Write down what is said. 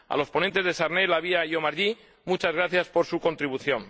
A los ponentes De Sarnez, La Via y Omarjee, muchas gracias por su contribución.